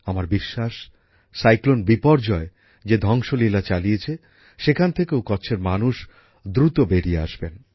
আমার বিশ্বাস ঘূর্ণিঝড় বিপর্যয় যে ধ্বংসলীলা চালিয়েছে সেখান থেকেও কচ্ছের মানুষ দ্রুত বেরিয়ে আসবেন